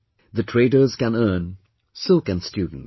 The traders can earn, so can students